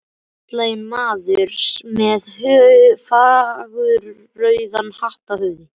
Feitlaginn maður með fagurrauðan hatt á höfði.